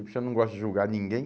Eu não gosto de julgar ninguém.